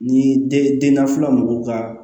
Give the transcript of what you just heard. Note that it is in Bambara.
Ni dennafila mɔgɔw ka